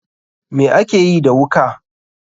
Me akeyi da wuka.